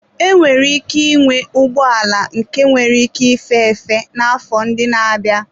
Enwere ike ịnwe ụgbọala nke nwere ike ife efe n'afọ ndị na-abịa.